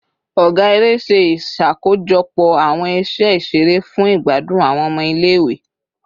Ọga ere ṣe iṣakojọpọ awọn iṣe iṣere fun igbadun awọn ọmọ ile-iwe